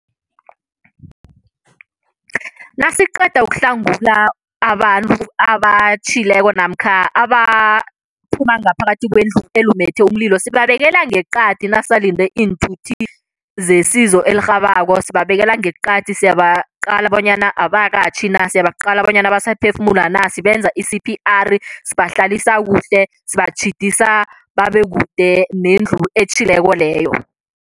Nasiqeda ukuhlangula abantu abatjhileko namkha abaphuma ngaphakathi kwendlu elumethe umlilo, sibabekela ngeqadi nasisalinde iinthuthi zesizo elirhabako. Sibabekela ngeqadi, siyabaqala bonyana abakakatjhi na, siyabaqala bonyana basaphefumula na, sibenza i-C_P_R, sibahlalisa kuhle, sibatjhidisa babe kude nendlu etjhileko leyo.